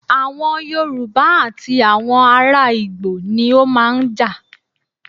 Awọn Yorùbá àti àwọn ará ìgbò ni ó máa ń jà.